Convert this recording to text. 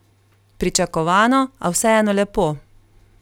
Pričakovano, a vseeno lepo.